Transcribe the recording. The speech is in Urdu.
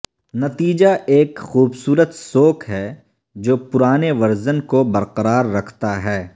نتیجہ ایک خوبصورت سوک ہے جو پرانے ورژن کو برقرار رکھتا ہے